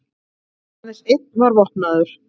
Aðeins einn var vopnaður